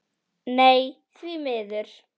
Nei því miður.